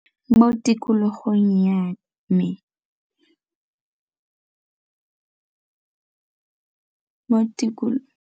Mo tikologong ya me .